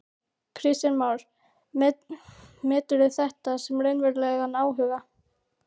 Kristján Már: Meturðu þetta sem raunverulegan áhuga?